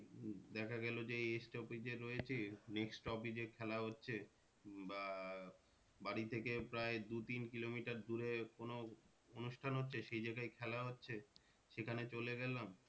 হম দেখা গেলো যে এই stop এ রয়েছি next stop এ খেলা হচ্ছে বা বাড়ি থেকে প্রায় দু তিন কিলোমিটার দূরে কোনো অনুষ্ঠান হচ্ছে সেই জায়গায় খেলা হচ্ছে সেখানে চলে গেলাম।